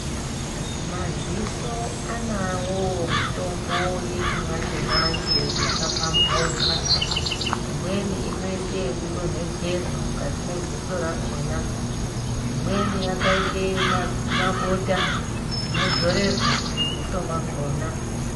Madziso anawowo mitombo yechimanjemanje yakapambauka imweni inoite yekudonhedzerwa mukati mwedziso rakhona ,imweni yakaite mabota inodzorerwa mudziso mwakhona.